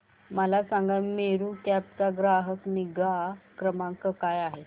मला सांगा मेरू कॅब चा ग्राहक निगा क्रमांक काय आहे